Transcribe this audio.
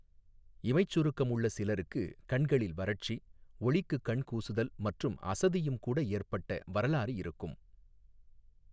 இமைச் சுருக்கம் உள்ள சிலருக்கு கண்களில் வறட்சி, ஒளிக்குக் கண் கூசுதல் மற்றும் அசதியும் கூட ஏற்பட்ட வரலாறு இருக்கும்.